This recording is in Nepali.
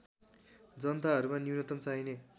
जनताहरूमा न्युनतम चाहिने